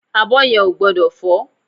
Abọ́ yẹn ò gbọ́dọ̀ fọ́